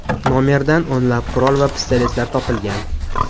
Nomerdan o‘nlab qurol va pistoletlar topilgan.